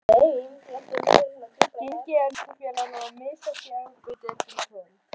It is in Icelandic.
Gengi ensku félaganna var misjafnt í Evrópudeildinni í kvöld.